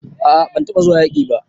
A'a ban taba zuwa yaki ba.